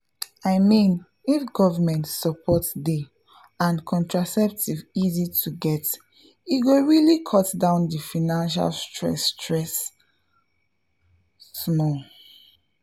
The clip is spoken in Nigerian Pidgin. i mean if government support dey and contraceptives easy to get e go really cut down the financial stress stress — pause small.